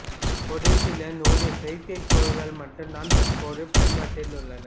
ஒரு சில நூறு செயற்கைக்கோள்கள் மட்டும் தான் தற்போது பயன்பாட்டில் உள்ளன